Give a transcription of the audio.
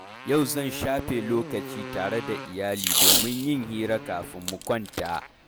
Yau zan shafe lokaci tare da iyali domin yin hira kafin mu kwanta.